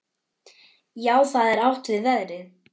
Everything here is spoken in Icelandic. Þá er átt við veðrið.